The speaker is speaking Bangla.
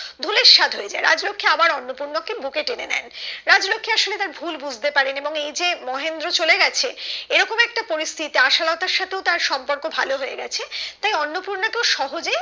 ধূলিসাৎ হয়ে যায় রাজলক্ষী আবার অন্নপূর্ণা কে বুকে টেনে নেন রাজলক্ষী আসলে তার ভুল বুঝতে পারেন এবং এই যে মহেন্দ্র চলে গেছে এরকম একটা পরিস্থিতিতে আশালতার সাথে ও তার সম্পর্ক ভালো হয়ে গেছে তাই অন্নপূর্ণাকে ও সহজেই